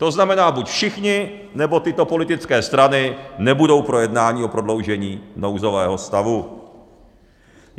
To znamená buď všichni, nebo tyto politické strany nebudou pro jednání o prodloužení nouzového stavu.